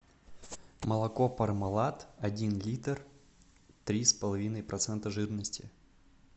молоко пармалат один литр три с половиной процента жирности